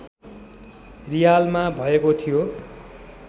रियालमा भएको थियो